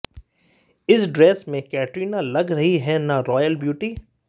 इस ड्रेस में कैटरीना लग रही हैं न रॉयल ब्यूटी